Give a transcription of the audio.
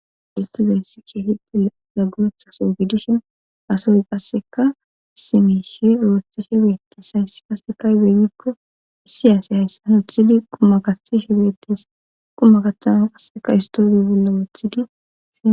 Detizayssi cheehide laguretha so gidishin asoy qasseka simishi oosti shi beettes hayssi kasekay beyikko issiyaasi hayssa nuthidi qumakai shi beettes qumma qathama qasseka istooriy billa weethidi a